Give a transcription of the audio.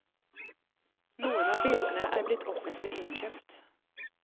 Noen av bildene er blitt offentlig innkjøpt.